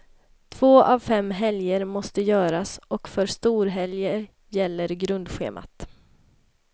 Två av fem helger måste göras och för storhelger gäller grundschemat.